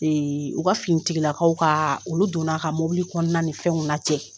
u ka finitigilakaw kaa olu donna ka mobili kɔnɔna ni fɛnw lajɛ